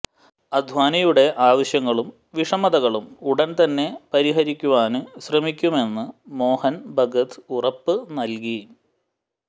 അദ്വാനിയുടെ ആവശ്യങ്ങളും വിഷമതകളും ഉടന് തന്നെ പരിഹരിക്കുവാന് ശ്രമിക്കുമെന്ന് മോഹന് ഭഗത് ഉറപ്പ് നല്കി